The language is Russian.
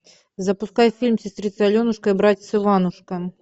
запускай фильм сестрица аленушка и братец иванушка